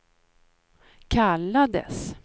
kallades